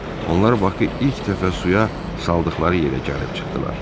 Onlar Bakı ilk dəfə suya saldıqları yerə gəlib çıxdılar.